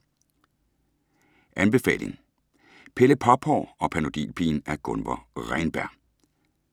Anbefaling: Pelle Pophår og Panodilpigen af Gunvor Reynberg